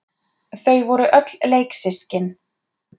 Þau voru öll leiksystkin.